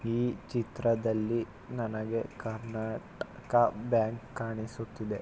ಈ ಚಿತ್ರದಲ್ಲಿ ನನಗೆ ಕರ್ನಾಟಕ ಬ್ಯಾಂಕ್ ಕಾಣಿಸುತ್ತಿದೆ.